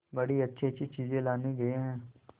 बड़ी अच्छीअच्छी चीजें लाने गई है